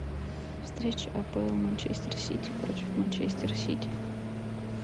встреча апл манчестер сити против манчестер сити